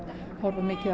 horfa mikið á